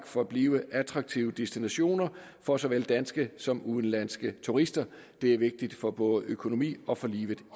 forblive en attraktiv destination for såvel danske som udenlandske turister det er vigtigt for både økonomi og for livet